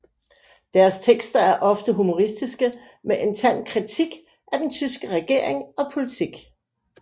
Deres tekster er ofte humoristiske med en tand kritik af den tyske regering og politik